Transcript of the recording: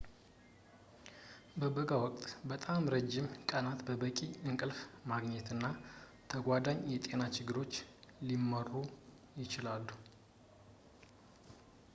በበጋ ወቅት በጣም ረጅም ቀናት በቂ እንቅልፍ ማግኘት እና ተጓዳኝ የጤና ችግሮች ሊመሩ ይችላሉ